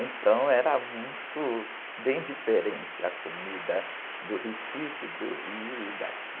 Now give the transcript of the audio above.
Então era muito, bem diferente a comida do Recife, do Rio e daqui.